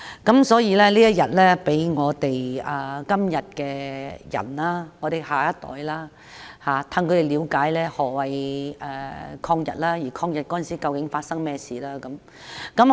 因此，在這天放假，可以讓現代人、年輕一代了解何謂抗日，以及當時究竟發生了甚麼事。